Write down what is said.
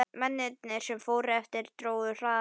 Mennirnir, sem eftir voru, drógu hraðar og kæruleysislegar.